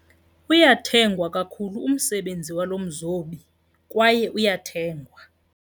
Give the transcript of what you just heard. Uyathengwa kakhulu umsebenzi walo mzobi kwaye uyathengwa.